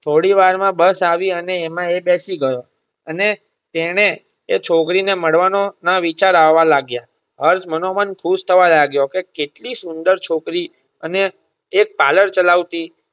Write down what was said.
થોડી વાર માં bus આવી અને એમાં એ બેસી ગયો અને તેણે એ છોકરી ને મળવાનો ના વિચાર આવા લાગા હર્ષ માનોમન ખુશ થવા લાગ્યો એ કેટલી સુંદર છોકરી અને એ parlor ચલાવતી.